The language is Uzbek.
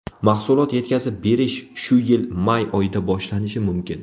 Mahsulot yetkazib berish shu yil may oyida boshlanishi mumkin.